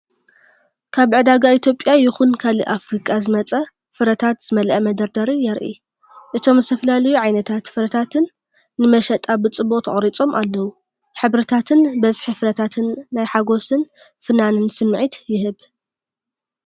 ካብ ዕዳጋ ኢትዮጵያ ይኹን ካልእ ኣፍሪቃ ዝመጸ ፍረታት ዝመልአ መደርደሪ የርኢ። እቶም ዝተፈላለዩ ዓይነታት ፍረታት ንመሸጣ ብጽቡቕ ተቐሪጾም ኣለዉ። ሕብርታትን ብዝሒ ፍረታትን ናይ ሓጎስን ፍናንን ስምዒት ይህብ።